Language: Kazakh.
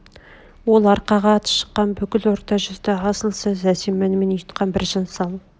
ол арқаға аты шыққан бүкіл орта жүзді асыл саз әсем әнмен ұйытқан біржан-сал